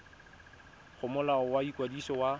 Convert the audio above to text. go molao wa ikwadiso wa